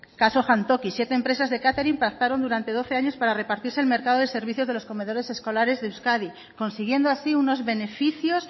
caso jantoki siete empresas de catering pactaron durante doce años para repartirse el mercado de servicios comedores escolares de euskadi consiguiendo así unos beneficios